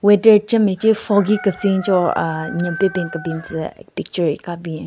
Weather che meche foggy ketsin choo aahh nyen pe ben kebin tsü picture hika bin.